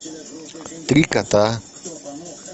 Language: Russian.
три кота